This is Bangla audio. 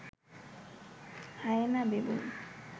hyena, baboon